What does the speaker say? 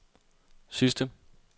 sidste